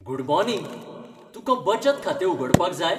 Good morning ! तुकां बचत खातें उगडपाक जाय?